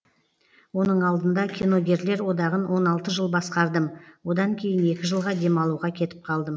оның алдында киногерлер одағын он алты жыл басқардым одан кейін екі жылға демалуға кетіп қалдым